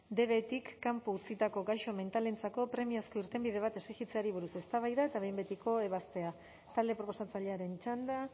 dbetik kanpo utzitako gaixo mentalentzako premiazko irtenbide bat exigitzeari buruz eztabaida eta behin betiko ebaztea talde proposatzailearen txanda